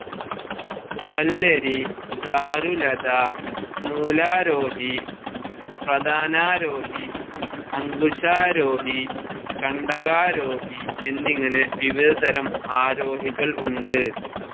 വല്ലരി, ദാരുലത, മൂലാരോഹി, പ്രതാനാരോഹി, അങ്കുശാരോഹി, കണ്ടകാരോഹി എന്നിങ്ങനെ വിവിധ തരം ആരോഹികൾ ഉണ്ട്.